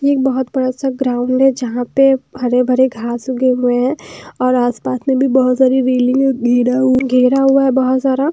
ये एक बहुत बड़ा सा ग्राउंड है जहाँ पे हरे भरे घास उगे हुए हैं और आसपास में भी बहुत सारी घेरा हुआ है बहुत सारा।